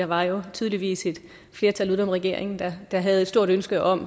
var jo tydeligvis et flertal uden om regeringen der der havde et stort ønske om